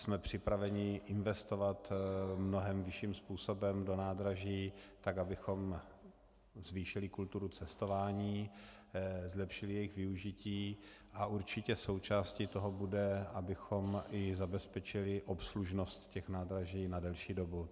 Jsme připraveni investovat mnohem vyšším způsobem do nádraží tak, abychom zvýšili kulturu cestování, zlepšili jejich využití, a určitě součástí toho bude, abychom i zabezpečili obslužnost těch nádraží na delší dobu.